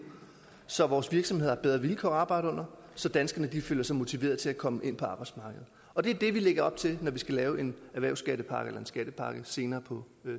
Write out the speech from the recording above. så vores virksomheder har bedre vilkår at arbejde under og så danskerne føler sig motiveret til at komme ind på arbejdsmarkedet og det er det vi lægger op til når vi skal lave en skattepakke en skattepakke senere på